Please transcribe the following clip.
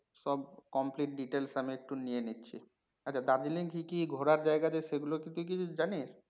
সব complete details আমি একটু নিয়ে নিচ্ছি। আচ্ছা দার্জিলিং এ কি কি ঘোরার জাইগা আছে সেগুলো কি তুই কিছু জানিস?